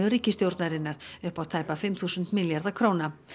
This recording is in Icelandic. ríkisstjórnarinnar upp á tæpa fimm þúsund milljarða króna